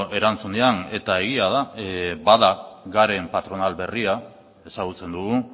erantzunean eta egia da bada garen patronal berria ezagutzen dugu